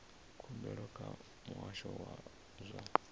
khumbelo kha muhasho wa zwa